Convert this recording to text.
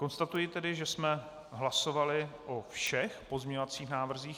Konstatuji tedy, že jsme hlasovali o všech pozměňovacích návrzích.